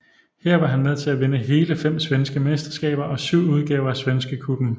Her var han med til at vinde hele fem svenske mesterskaber og syv udgaver af Svenska Cupen